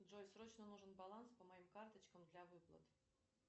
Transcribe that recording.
джой срочно нужен баланс по моим карточкам для выплат